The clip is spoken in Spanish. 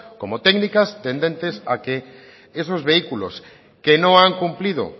como técnicas tendentes a que esos vehículos que no han cumplido